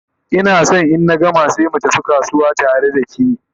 Ina San in na gama sai mu tafi kasuwa tare da ke